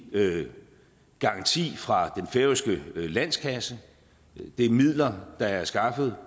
garanti fra den færøske landskasse det er midler der er skaffet